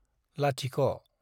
लाथिख'